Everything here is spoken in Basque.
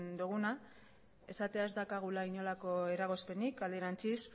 duguna esatea ez daukagula inongo eragozpenik alderantziz